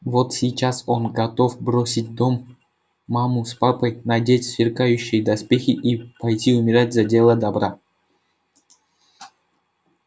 вот сейчас он готов бросить дом маму с папой надеть сверкающие доспехи и пойти умирать за дело добра